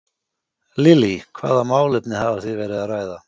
Lillý: Hvaða málefni hafið þið verið að ræða?